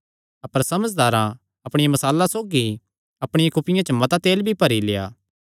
अपर समझदारां अपणियां मशालां सौगी अपणियां कुपियां च मता तेल भी भरी लेआ